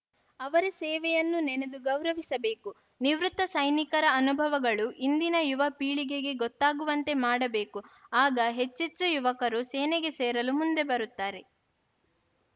ಅವರ ಸೇವೆಯನ್ನು ನೆನೆದು ಗೌರವಿಸಬೇಕು ನಿವೃತ್ತ ಸೈನಿಕರ ಅನುಭವಗಳು ಇಂದಿನ ಯುವಪೀಳಿಗೆಗೆ ಗೊತ್ತಾಗುವಂತೆ ಮಾಡಬೇಕು ಆಗ ಹೆಚ್ಚೆಚ್ಚು ಯುವಕರು ಸೇನೆಗೆ ಸೇರಲು ಮುಂದೆ ಬರುತ್ತಾರೆ